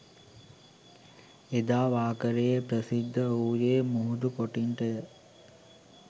එදා වාකරේ ප්‍රසිද්ධ වූයේ මුහුදු කොටින්ටය